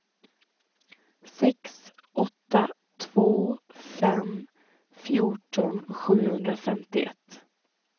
sex åtta två fem fjorton sjuhundrafemtioett